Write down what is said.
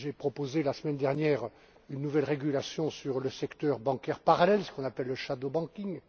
J'ai proposé, la semaine dernière, une nouvelle réglementation sur le secteur bancaire parallèle, ce qu'on appelle le shadow banking